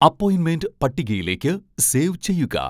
അപ്പോയിൻമെൻ്റ് പട്ടികയിലേക്ക് സേവ് ചെയ്യുക